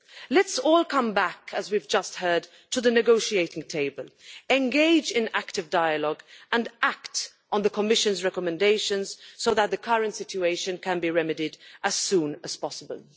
Let us all come back as we have just heard to the negotiating table, engage in active dialogue and act on the Commission's recommendations so that the current situation can be remedied as soon as possible.